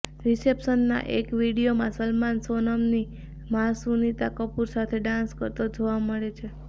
રિસેપ્શનના એક વીડિયોમાં સલમાન સોનમની મા સુનીતા કપૂર સાથે ડાંસ કરતા જોવા મળે છે